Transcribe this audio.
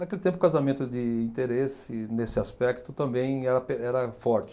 Naquele tempo, o casamento de interesse, nesse aspecto, também era pe era forte.